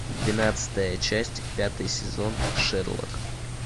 двенадцатая часть пятый сезон шерлок